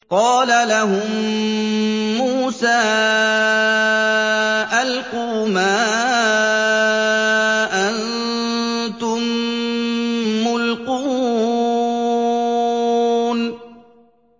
قَالَ لَهُم مُّوسَىٰ أَلْقُوا مَا أَنتُم مُّلْقُونَ